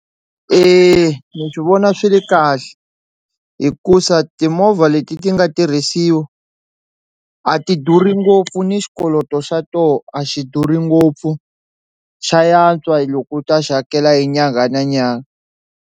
Eya ni vona swi ri kahle hikusa timovha leti ti nga tirhisiwa a ti durhi ngopfu ni xikoloto xa toho a xi durhi ngopfu xa yantswa hi loko u ta xi hakela hi nyangha na nyangha.